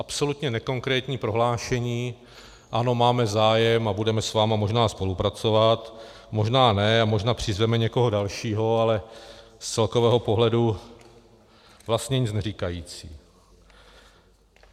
Absolutně nekonkrétní prohlášení: Ano, máme zájem a budeme s vámi možná spolupracovat, možná ne a možná přizveme někoho dalšího - ale z celkového pohledu vlastně nic neříkající.